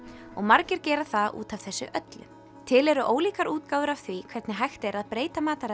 og margir gera það út af þessu öllu til eru ólíkar útgáfur af því hvernig er hægt að breyta mataræði